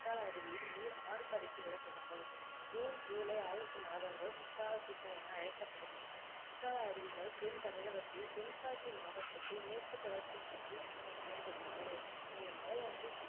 குற்றால அருவியில் நீர் ஆர்ப்பரித்து விழத்தொடங்கும் ஜூன் ஜூலை ஆகஸ்ட் மாதங்கள் குற்றால சீசன் என அழைக்கப்படும் குற்றால அருவிகள் தென் தமிழகத்தில் தென்காசி மாவட்டத்தில் மேற்குத் தொடர்ச்சி மலையில் அமைந்துள்ளது இந்த மலையானது